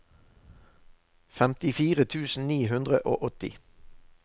femtifire tusen ni hundre og åtti